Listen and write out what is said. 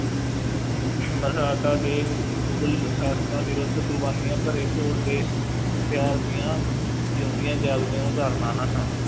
ਦੇ ਮੁਗਲ ਸ਼ਾਸ਼ਕਾਂ ਵਿਰੁੱਧ ਕੁਰਬਾਨੀਆਂ ਭਰੇ ਘੋਲ ਦੇ ਦੀਆਂ ਜਿਉਂਦੀਆਂ ਜਾਗਦੀਆਂ ਉਦਾਹਰਣਾਂ ਹਨ